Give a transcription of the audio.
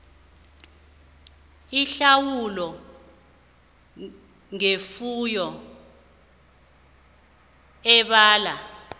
ihlawulo ngefuyo ebalwa